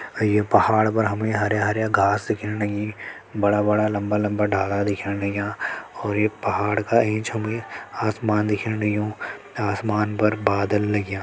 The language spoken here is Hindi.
अ ये पहाड़ पर हमे हर्या-हर्या घास दिखेण लगी बड़ा बड़ा लम्बा लम्बा डाला दिखेण लग्यां और ये पहाड़ का ऐंच हमे आसमान दिखेण लग्युं आसमान पर बादल लग्यां।